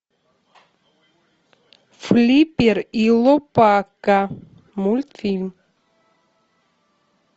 флиппер и лопака мультфильм